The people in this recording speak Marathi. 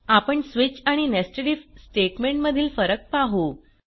आपण स्विच आणि nested आयएफ स्टेटमेंट मधील फरक पाहु